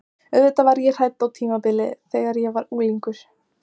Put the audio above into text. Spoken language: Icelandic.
Auðvitað var ég hrædd á tímabili, þegar ég var unglingur.